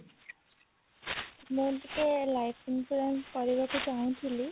ମୁଁ ଟିକେ life insurance କରିବାକୁ ଚାହୁଁଥିଲି